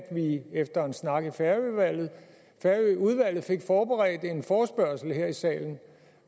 vi efter en snak i færøudvalget færøudvalget fik forberedt en forespørgsel her i salen